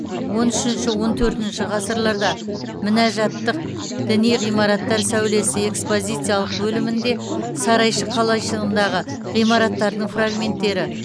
он үшінші он төртінші ғасырларда мінәжатттық діни ғимараттар сәулеті экспозициялық бөлімінде сарайшық қалайшығындағы ғимараттардың фрагменттері